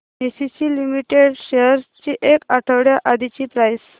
ACC limited shares ची एक आठवड्या आधीची प्राइस